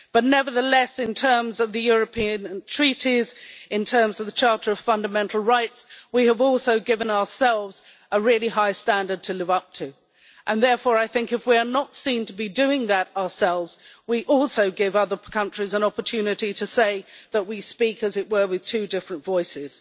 But, nevertheless, in terms of the European treaties, in terms of the Charter of Fundamental Rights, we have also given ourselves a really high standard to live up to, and therefore I think if we are not seen to be doing that ourselves we also give other countries an opportunity to say that we speak, as it were, with two different voices.